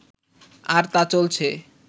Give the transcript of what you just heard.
আর তা চলছে